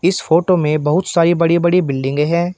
इस फोटो में बहुत सारी बड़ी बड़ी बिल्डिंगें हैं।